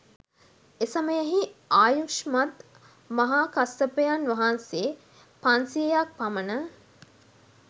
එසමයෙහි ආයුෂ්මත් මහාකස්සපයන් වහන්සේ පන්සියයක් පමණ